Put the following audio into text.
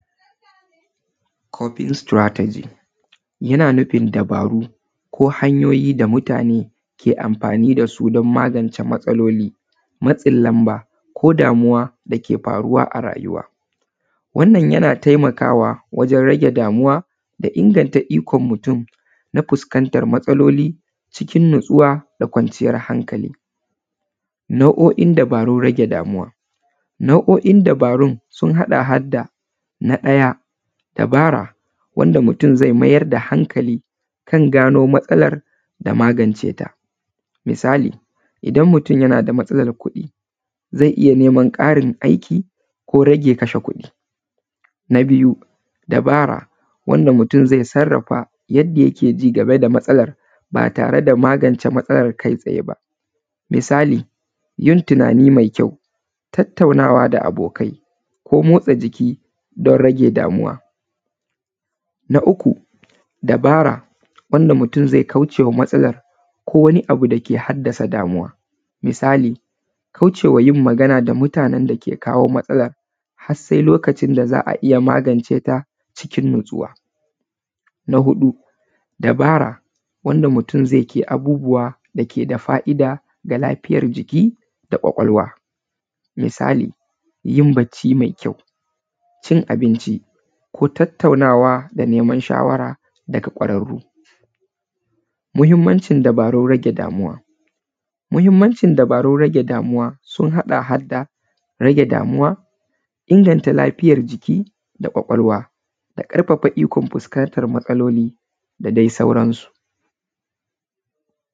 Copying strategy, yana nufin dabaru ko hanyoyi da mutane ke amfani da su don magance matsaloli, matsin lamba ko damuwa da ke faruwa a rayuwa. Wannan yana taimakawa wajen rage damuwa da ingantanta ikon mutum na fuskantar matsaloli cikin natsuwa da kwanciyar hankali. Nau’o’in dabarun rage damuwa, nau’o’in dabarun sun haɗa har da na ɗaya; dabara wanda mutum zai mayar da hankali kan gano matsalar da magance ta, misali idan mutum yana da matsalar kuɗi zai iya neman ƙarin aiki ko rage kashe kuɗi. Na biyu, Dabara, wanda mutum zai sarrafa yadda yake ji game da matsalar ba tare da magance matsalar kai tsaye ba. Misali yin tunani mai kyau, tattaunawa da abokai, ko motsa jiki don rage damuwa. Na uku, dabara wanda mutum zai kaucewa matsalar ko wani abu da ke haddasa damuwa, misali kaucewa yin magana da mutanen da ke kawo matsala har sai lokacin da za a iya magance ta cikin natsuwa. Na huɗu, dabara wanda mutum zai ƙi abubuwa da ke da fa’ida da lafiyar jiki da ƙwaƙwalwa, misali yin bacci mai kyau, cin abinci ko tattaunawa da neman shawara daga ƙwararru. Muhimmancin dabarun rage damuwa, muhimmancin dabarun rage damuwa sun haɗa har da rage damuwa, inganta lafiyar jiki da ƙwaƙwalwa da ƙarfafa ikon fuskantar matsaloli da dai sauran su.